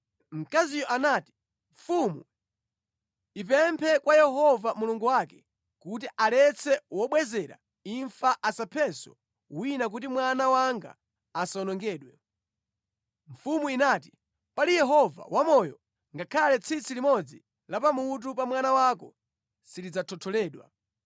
Mkaziyo anati, “Mfumu ipemphe kwa Yehova Mulungu wake kuti aletse wobwezera imfa asaphenso wina kuti mwana wanga asawonongedwe.” Mfumu inati, “Pali Yehova wamoyo ngakhale tsitsi limodzi la pamutu pa mwana wako silidzathotholedwa.”